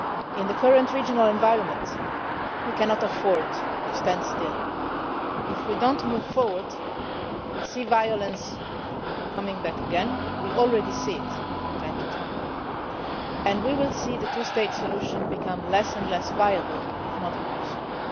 to see it. In the current regional environment we cannot afford to stand still. If we do not move forward, we will see violence coming back again we are already seeing it from time to time and we will see the two state solution become less and less viable, if not